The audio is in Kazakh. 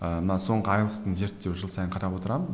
ыыы мына соңғы айлс зерттеуін жыл сайын қарап отырамын